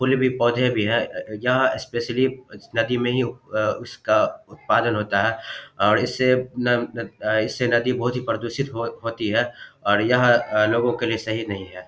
फूल भी पौधे भी है अ अ यहां स्पेशली नदी में ही उ अ उसका उत्पादन होता है और इससे इससे न इससे नदी बोहोत ही प्र प्रदूषित हो होती है और यह लोगों के लिए सही नहीं है।